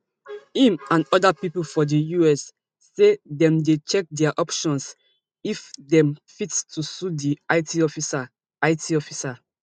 im and oda pipo for di us say dem dey check dia options if dem fit to sue di it officer it officer